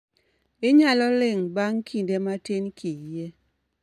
Inyalo ling' bang' kinde vmatin kiyie